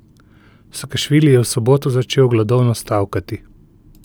Sakašvili je v soboto začel gladovno stavkati.